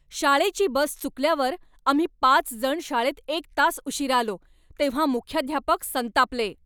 शाळेची बस चुकल्यावर आम्ही पाच जण शाळेत एक तास उशिरा आलो तेव्हा मुख्याध्यापक संतापले.